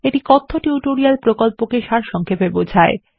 এটি কথ্য টিউটোরিয়াল প্রকল্পকে সারসংক্ষেপে বোঝায়